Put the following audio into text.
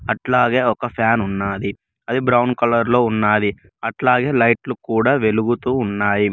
అట్లాగే ఒక ఫ్యాన్ ఉన్నది అది బ్రౌన్ కలర్ లో ఉండాలి అట్లాగే లైట్లు కూడా వెలుగుతూ ఉన్నాయి.